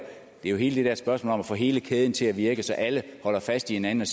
jo hele det der spørgsmål om at få hele kæden til at virke så alle holder fast i hinanden